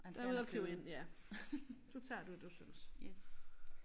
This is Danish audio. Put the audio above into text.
Han er ude og købe ind ja du tager det du synes